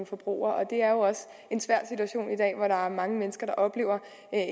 forbrugere og det er jo også en svær situation i dag hvor der er mange mennesker der oplever